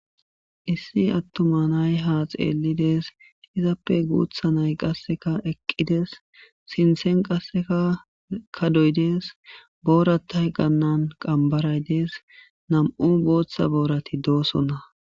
Issi atuma na'ay ha xelidi dees izappe gutha na'ay qa eqidi dees sinten qaseka kadoy dees orata qambaray dees nam'u bota boray dosona.